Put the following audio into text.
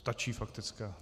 Stačí faktická?